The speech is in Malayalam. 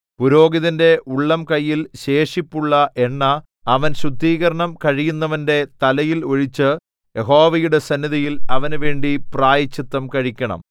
പുരോഹിതന്റെ ഉള്ളംകൈയിൽ ശേഷിപ്പുള്ള എണ്ണ അവൻ ശുദ്ധീകരണം കഴിയുന്നവന്റെ തലയിൽ ഒഴിച്ച് യഹോവയുടെ സന്നിധിയിൽ അവനുവേണ്ടി പ്രായശ്ചിത്തം കഴിക്കണം